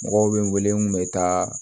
Mɔgɔw bɛ n wele n kun bɛ taa